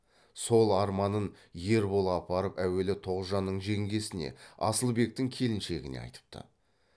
сол арманын ербол апарып әуелі тоғжанның жеңгесіне асылбектің келіншегіне айтыпты